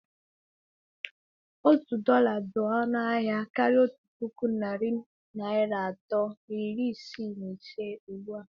Otu dọla dị ọnụ ahịa karịa otu puku narị naira atọ na iri isii na ise ugbu a.